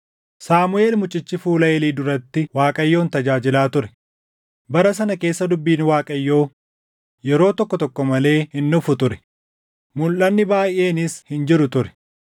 Saamuʼeel mucichi fuula Eelii duratti Waaqayyoon tajaajilaa ture. Bara sana keessa dubbiin Waaqayyoo yeroo tokko tokko malee hin dhufu ture; mulʼanni baayʼeenis hin jiru ture.